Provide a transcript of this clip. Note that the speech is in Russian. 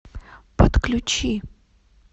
подключи